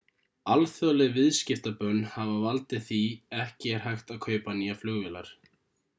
alþjóðleg viðskiptabönn hafa valdið því ekki er hægt að kaupa nýjar flugvélar